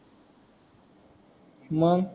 मग